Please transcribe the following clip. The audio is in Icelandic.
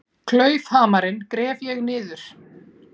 Klaufhamarinn gref ég niður.